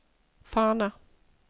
Fana